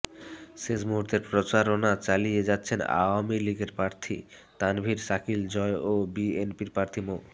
শেষ মুহূর্তের প্রচারণা চালিয়ে যাচ্ছেন আওয়ামী লীগের প্রার্থী তানভীর শাকিল জয় ও বিএনপির প্রার্থী মো